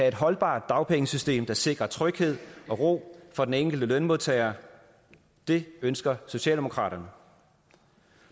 et holdbart dagpengesystem der sikrer tryghed og ro for den enkelte lønmodtager det ønsker socialdemokraterne